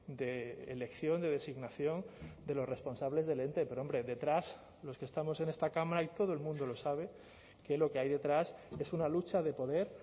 de elección de designación de los responsables del ente pero hombre detrás los que estamos en esta cámara y todo el mundo lo sabe que lo que hay detrás es una lucha de poder